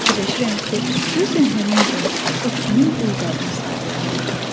Fikirləşirəm ki, görəsən həmin gün o kimin dul qadını sayılırmış?